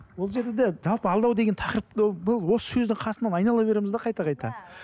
бұл жерде де жалпы алдау деген тақырыпты бұл осы сөздің қасынан айнала береміз де қайта қайта